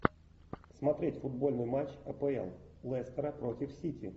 смотреть футбольный матч апл лестера против сити